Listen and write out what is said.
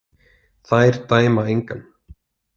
Þær dæma engan.